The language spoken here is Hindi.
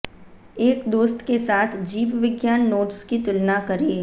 एक दोस्त के साथ जीवविज्ञान नोट्स की तुलना करें